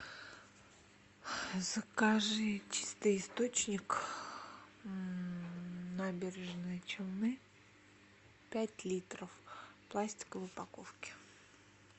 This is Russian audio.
закажи чистый источник набережные челны пять литров в пластиковой упаковке